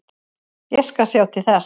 Ég skal sjá til þess.